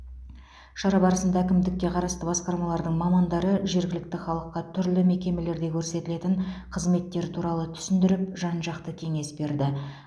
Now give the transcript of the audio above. шара барысында әкімдікке қарасты басқармалардың мамандары жергілікті халыққа түрлі мекемелерде көрсетілетін қызметтер туралы түсіндіріп жан жақты кеңес берді